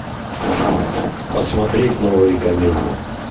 посмотреть новые комедии